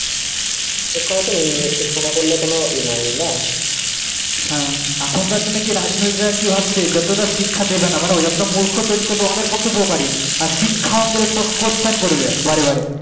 শিক্ষা হচ্ছে শিক্ষা না করলে কোনো ই নাই বুঝলা হ্যাঁ এখন কার দিনে কি রাজনৈতিক দ্বারা কি ভাবছে যতটা শিক্ষা দেবেনা মানে যতটা মূর্খ তৈরি করবে ওদের পক্ষে উপকারী আর শিক্ষা questions করবা বারে বারে